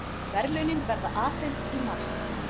Verðlaunin verða afhent í mars